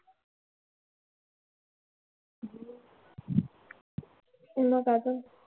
मग आता